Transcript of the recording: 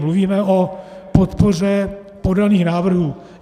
Mluvíme o podpoře podaných návrhů.